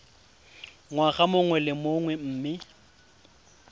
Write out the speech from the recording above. ngwaga mongwe le mongwe mme